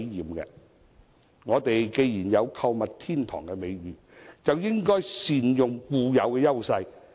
既然香港有購物天堂的美譽，便應該善用固有的優勢。